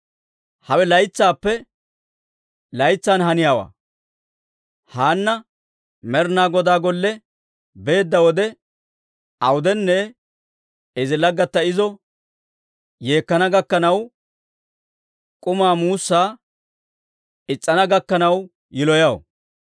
Hawe laytsaappe laytsan haniyaawaa; Haanna Med'inaa Godaa Golle beedda wode awudenne izi laggatta izo yeekkana gakkanaw k'umaa muussaa is's'ana gakkanaw yiloyaw.